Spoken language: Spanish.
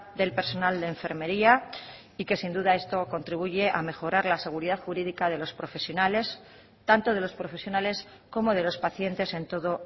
del personal de enfermería y que sin duda esto contribuye a mejorar la seguridad jurídica de los profesionales tanto de los profesionales como de los pacientes en todo